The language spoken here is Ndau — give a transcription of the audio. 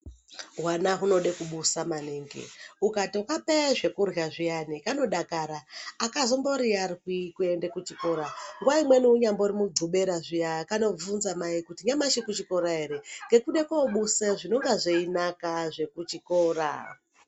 Hwana hunoda kubusa maningi ukatokapa zvekurla zviyani kanodakara akazomboiyarwi kuende kuchikora nguwa imweni unyari mugovera zviya kanotobvunza mai kuti anyamashi kuchikora ere ngekuda kundobusa zvinenge zveinaka zvekuchikora.